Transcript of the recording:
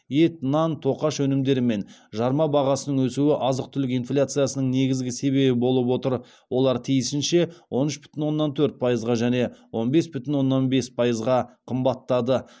ет нан тоқаш өнімдері мен жарма бағасының өсуі азық түлік инфляциясының негізгі себебі болып отыр олар тиісінше он үш бүтін оннан төрт пайызға және он бес бүтін оннан бес пайызға қымбаттады